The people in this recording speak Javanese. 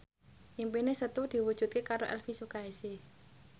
impine Setu diwujudke karo Elvy Sukaesih